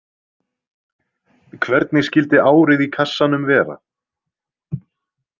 Hvernig skyldi árið í kassanum vera?